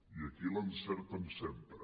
i aquí l’encerten sempre